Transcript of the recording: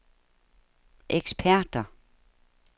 eksperter